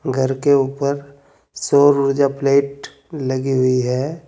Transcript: घर के ऊपर सौर ऊर्जा प्लेट लगी हुई है।